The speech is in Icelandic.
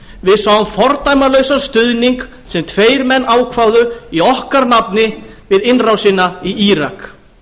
við sáum fordæmalausan stuðning sem tveir menn ákváðu í okkar nafni við innrásina í írak